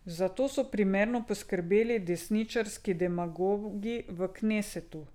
Za to so primerno poskrbeli desničarski demagogi v knesetu.